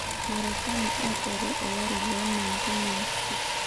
Marekani aiteru olari le 1996.